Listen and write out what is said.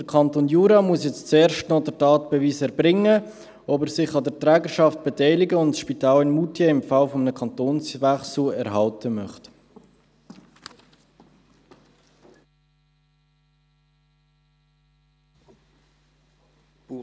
Der Kanton Jura muss nun zuerst den Tatbeweis erbringen, dass er sich an der Trägerschaft beteiligen und das Spital in Moutier im Falle eines Kantonswechsels erhalten möchte.